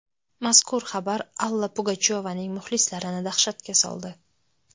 Mazkur xabar Alla Pugachyovaning muxlislarini dahshatga soldi.